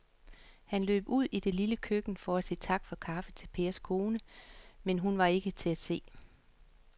Han løb ud i det lille køkken for at sige tak for kaffe til Pers kone, men hun var ikke til at se.